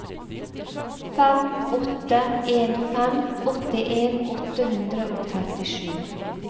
fem åtte en fem åttien åtte hundre og trettisju